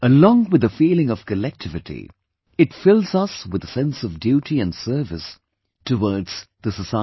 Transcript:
Along with the feeling of collectivity, it fills us with a sense of duty and service towards the society